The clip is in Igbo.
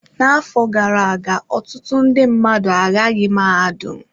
N'afọ gara aga, ọtụtụ ndị mmadụ agaghị mahadum.